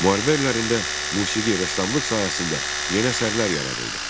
Müharibə illərində musiqi, rəssamlıq sahəsində yeni əsərlər yaradıldı.